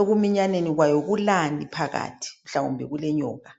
ekuminyaneni kwayo kulani phakathi kwayo mhlawumbe kule nyoka